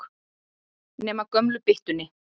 Nema gömlu byttunni.